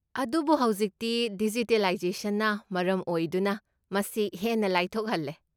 ꯑꯗꯨꯕꯨ ꯍꯧꯖꯤꯛꯇꯤ ꯗꯤꯖꯤꯇꯤꯂꯥꯏꯖꯦꯁꯟꯅ ꯃꯔꯝ ꯑꯣꯏꯗꯨꯅ, ꯃꯁꯤ ꯍꯦꯟꯅ ꯂꯥꯏꯊꯣꯛꯍꯜꯂꯦ꯫